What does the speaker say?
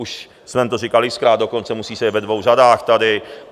Už jsem to říkal x-krát, dokonce musí sedět ve dvou řadách tady.